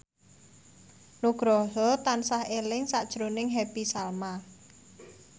Nugroho tansah eling sakjroning Happy Salma